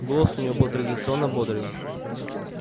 голос у него был традиционно бодрый